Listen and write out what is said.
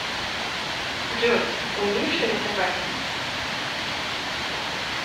джой умеешь рисовать